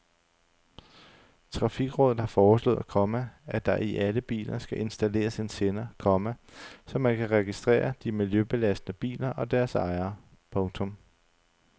Trafikrådet har foreslået, komma at der i alle biler skal installeres en sender, komma så man kan registrere de miljøbelastende biler og deres ejere. punktum